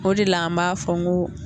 O de la an b'a fɔ n ko